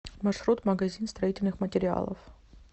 маршрут магазин строительных материалов